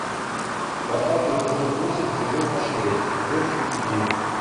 поставь эпизод восемь сезона шесть дождь любви